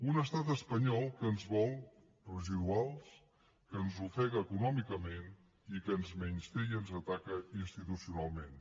un estat espanyol que ens vol residuals que ens ofega econòmicament i que ens menysté i ens ataca institucionalment